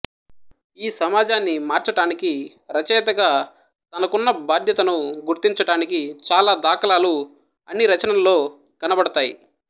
ఈ సమాజాన్ని మార్చటానికి రచయతగా తనకున్న బాధ్యతను గుర్తించటానికి చాల దాఖలాలు అన్ని రచనల్లో కనబడతాయి